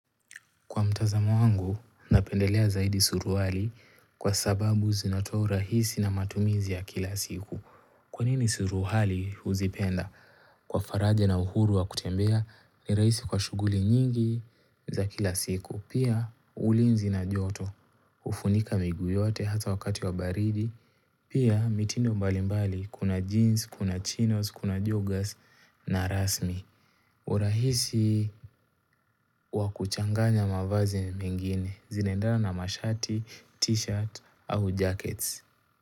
Kwa mtazamo wangu, napendelea zaidi suruali kwa sababu zinatoa urahisi na matumizi ya kila siku. Kwa nini suruali huzipenda? Kwa faraja na uhuru wa kutembea ni rahisi kwa shuguli nyingi za kila siku. Pia ulinzi na joto, hufunika miguu yote hata wakati wa baridi. Pia mitindo mbalimbali, kuna jeans, kuna chinos, kuna jogas na rasmi. Urahisi wakuchanganya mavazi mengine zinaendana na mashati, t-shirt au jackets.